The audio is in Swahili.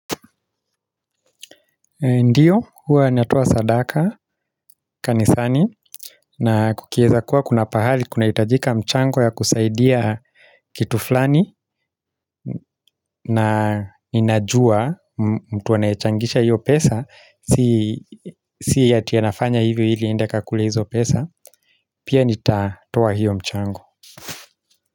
Ndiyo, huwa natoa sadaka, kanisani, na kukieza kuwa kuna pahali kunahitajika mchango ya kusaidia kitu flani na ninajua mtu anayechangisha hiyo pesa, si ati anafanya hivyo ili aende akakule hizo pesa, pia nitatoa hiyo mchango.